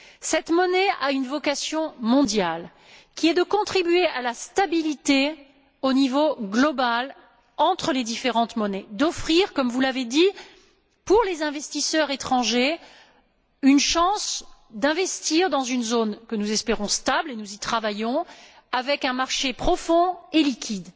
Cette monnaie a une vocation mondiale, qui est de contribuer à la stabilité, au niveau global, entre les différentes monnaies, d'offrir, comme vous l'avez dit, pour les investisseurs étrangers une chance d'investir dans une zone que nous espérons stable, et nous y travaillons, avec un marché profond et liquide.